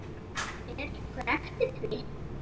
Fer einhver eftir því?